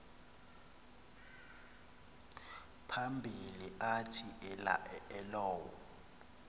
phambili athi elowo